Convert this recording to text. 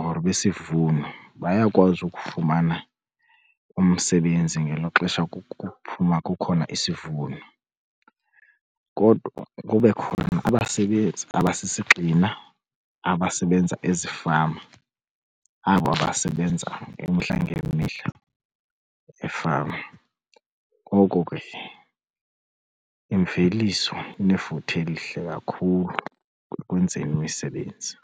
or besivuno bayakwazi ukufumana umsebenzi ngelo xesha kuphuma, kukhona isivuno. Kodwa kube khona abasebenzi abasisigxina abasebenza ezifama abo abasebenza imihla ngemihla efama. Ngoko ke imveliso inefuthe elihle kakhulu ekwenzeni imisebenzi.